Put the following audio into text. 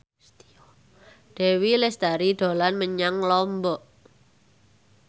Dewi Lestari dolan menyang Lombok